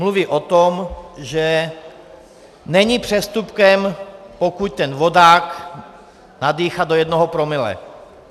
Mluví o tom, že není přestupkem, pokud ten vodák nadýchá do jednoho promile.